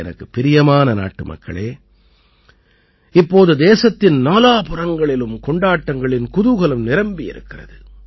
எனக்குப் பிரியமான நாட்டுமக்களே இப்போது தேசத்தின் நாலாபுறங்களிலும் கொண்டாட்டங்களின் குதூகலம் நிரம்பியிருக்கிறது